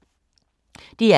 DR K